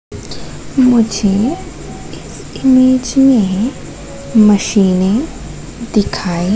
मुझे इस इमेज में मशीनें दिखाई--